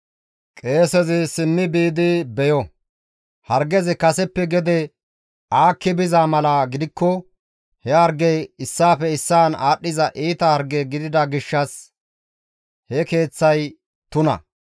qeesezi simmi biidi beyo; hargezi kaseppe gede aakki aakki biza mala gidikko he hargey issaafe issaan aadhdhiza iita harge gidida gishshas he keeththay tuna.